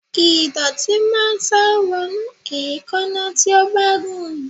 Ìdọ̀tí máa ń sá wọnú èékánná tí ó bá gùn.